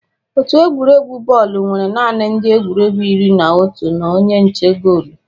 Otu egwuregwu bọọlụ nwere naanị ndị egwuregwu iri na otu na onye nche goolu